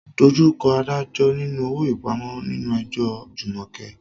Face the magistrate for bail in Jumoke's case.